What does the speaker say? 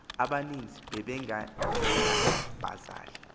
abani nzi babengenabazali